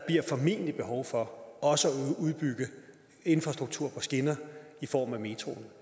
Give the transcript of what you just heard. formentlig behov for også at udbygge infrastruktur på skinner i form af metroen